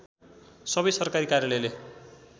सबै सरकारी कार्यालयले